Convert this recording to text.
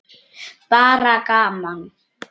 Bara gaman.